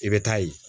I bɛ taa ye